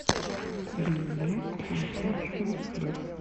билет лисичкин хлеб